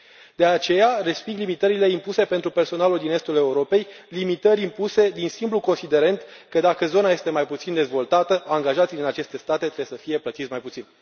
De aceea, resping limitările impuse pentru personalul din Estul Europei, limitări impuse din simplul considerent că, dacă zona este mai puțin dezvoltată, angajații din aceste state trebuie să fie plătiți mai puțin.